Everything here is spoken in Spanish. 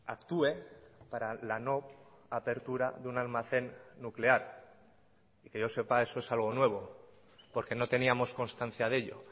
actúe para la no apertura de un almacén nuclear y que yo sepa eso es algo nuevo porque no teníamos constancia de ello